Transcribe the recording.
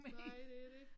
Nej det dét